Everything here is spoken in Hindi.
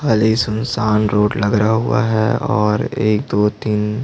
खाली सुनसान रोड लगरा हुआ है और एक दो तीन--